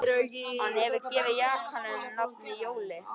Hann hefur gefið jakanum nafnið Jóli